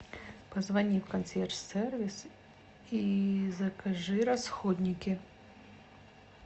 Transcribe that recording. позвони в консьерж сервис и закажи расходники